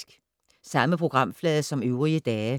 Samme programflade som øvrige dage